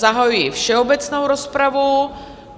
Zahajuji všeobecnou rozpravu.